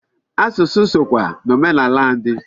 Asụsụ sokwa n'omenala ndị